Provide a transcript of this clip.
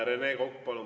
Rene Kokk, palun!